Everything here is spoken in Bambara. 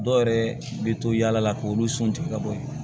Dɔw yɛrɛ bɛ to yala la k'olu sun tigɛ ka bɔ yen